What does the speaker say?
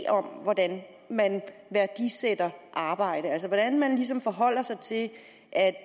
om hvordan man værdisætter arbejde altså hvordan man ligesom forholder sig til at at